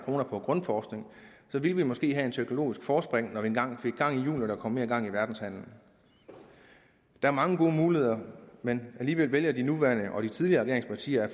kroner på grundforskning så ville vi måske have et teknologisk forspring når vi engang får gang i hjulene og mere gang i verdenshandelen der er mange gode muligheder men alligevel vælger de nuværende og de tidligere regeringspartier at